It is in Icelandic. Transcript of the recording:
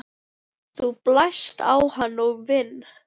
Þú blæst á hann og vin